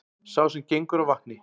Sá sem gengur á vatni,